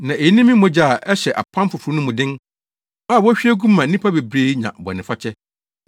na eyi ne me mogya a ɛhyɛ Apam Foforo no mu den, a wohwie gu ma nnipa bebree nya bɔnefakyɛ.